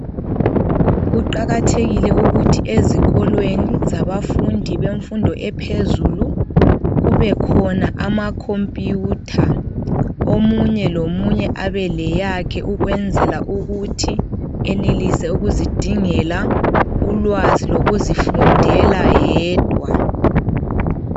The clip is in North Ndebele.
Kuqakathekile ukuthi ezikolweni, zabafundi bemfundo ephezulu kubekhona amacomputer. Omunye lomunye abeleyakhe ukwenzela ukuthi enelise ukuzidingela ulwazi lokuzifundela yedwa.